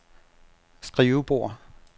skrivebord